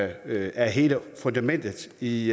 er hele fundamentet i